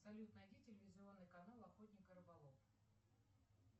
салют найди телевизионный канал охотник и рыболов